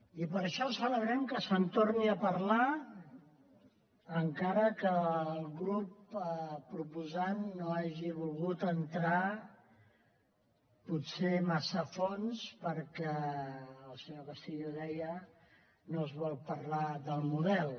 i per això celebrem que se’n torni a parlar encara que el grup proposant no hagi volgut entrar potser massa a fons perquè el senyor castillo ho deia no es vol parlar del model